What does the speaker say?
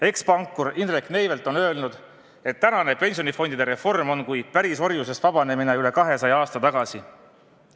Ekspankur Indrek Neivelt on öelnud, et tänane pensionifondide reform on kui pärisorjusest vabanemine üle 200 aasta tagasi.